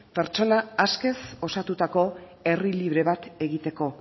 pertsona askez osatutako herri libre bat egiteko